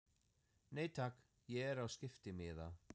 Nei takk, ég er á skiptimiða.